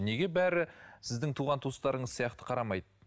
неге бәрі сіздің туған туыстарыңыз сияқты қарамайды